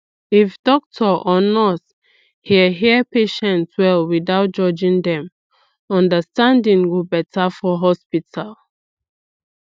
if doctor or nurse hear hear patient well without judging dem understanding go better for hospital